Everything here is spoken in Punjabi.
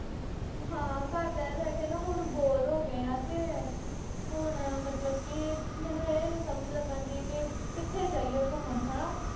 ਹਾਂ, ਘਰ ਬਹਿ-ਬਹਿ ਕੇ ਨਾ, ਹੁਣ bore ਹੋ ਗਏ ਆਂ। ਤੇ ਹੁਣ ਮਤਲਬ ਕਿ ਮੈਨੂੰ ਇਹ ਨੀਂ ਸਮਝ ਲੱਗਣ ਡਈ ਕਿ ਕਿੱਥੇ ਜਾਈਏ ਘੁੰਮਣ ਹਨਾ।